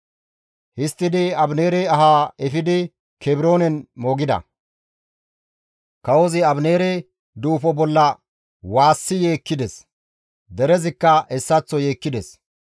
Histtidi Abineere ahaa efidi Kebroonen moogida; kawozi Abineere duufo bolla waassi yeekkides; derezikka hessaththo yeekkides.